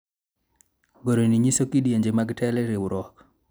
goro ni nyiso kidienje mag telo e riwruok